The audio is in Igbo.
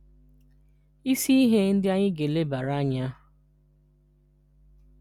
Isi ihe ndị anyị ga-elebara anya: